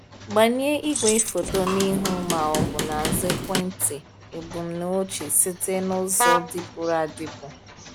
Gbanye igwefoto n'ihu ma ọ bụ n’azụ ekwentị ebumnuche site n’ụzọ dịpụrụ adịpụ.